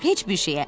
Heç bir şeyə.